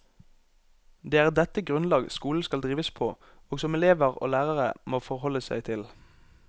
Det er dette grunnlag skolen skal drives på, og som elever og lærere må forholde seg til.